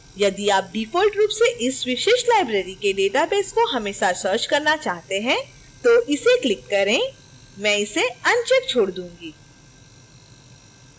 यदि आप default रूप से इस विशेष library के database को हमेशा searched करना चाहते हैं तो इसे click करें